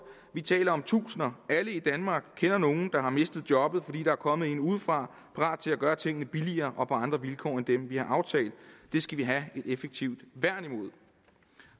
vi taler om tusinder alle i danmark kender nogen der har mistet jobbet fordi der er kommet en udefra parat til at gøre tingene billigere og på andre vilkår end dem vi har aftalt det skal vi have et værn imod